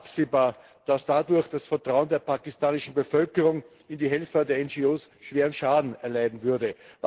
Es war absehbar, dass dadurch das Vertrauen der pakistanischen Bevölkerung in die Helfer der NGOs schweren Schaden erleiden würde.